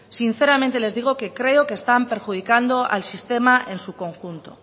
sinceramente les digo que creo que están perjudicando al sistema en su conjunto